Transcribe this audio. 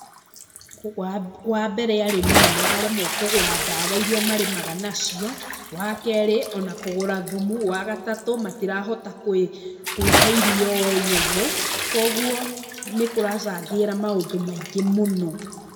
Kũgũ wambere arĩmi nĩmararemwo kũgũra ndawa iria marĩamaga nacio, wakerĩ ona kũgũra thumu, wa gatatũ matirahota kwĩ kwĩhe irio o enyewe, koguo, nĩkũracangĩra maũndũ maingĩ mũno.